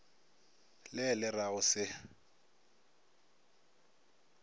le le ra go se